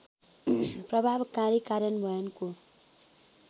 प्रभावकारी कार्यान्वयनको